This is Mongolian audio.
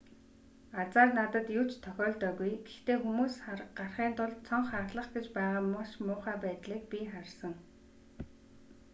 азаар надад юу ч тохиолдоогүй гэхдээ хүмүүс гарахын тулд цонх хагалах гэж байгаа маш муухай байдлыг би харсан